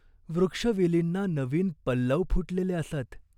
वृक्षवेलींना नवीन पल्लव फुटलेले असत.